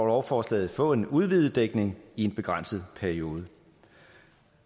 lovforslaget få en udvidet dækning i en begrænset periode